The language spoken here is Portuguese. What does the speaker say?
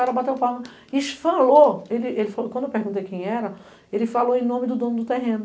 Aí, o cara bateu palma e falou, quando eu perguntei quem era, ele falou em nome do dono do terreno.